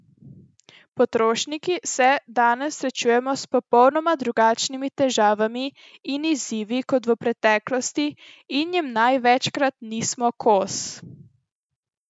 Potrošniki se danes srečujemo s popolnoma drugačnimi težavami in izzivi kot v preteklosti in jim največkrat nismo kos.